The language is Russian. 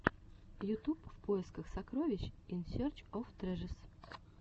ютуб в поисках сокровищ ин серч оф трэжэс